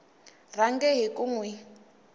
rhange hi ku n wi